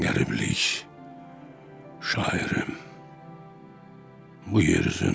Qəriblik, şairim bu yer üzündə.